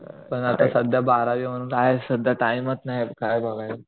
पण आता सध्या बारावी म्हणून आहे सध्या टाइमच नाही काय बघायला